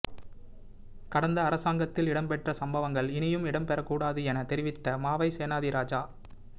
கடந்த அரசாங்கத்தில் இடம்பெற்ற சம்பவங்கள் இனியும் இடம்பெற கூடாது எனத் தெரிவித்த மாவை சேனாதிராஜா